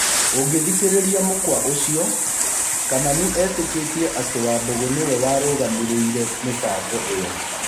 ũngĩthikĩrĩria mũkwa ũcio, Kamani etĩkĩtie atĩ Wambũgũnĩwe warũgamĩrĩire mĩbango ĩo.